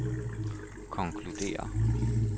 konkluderer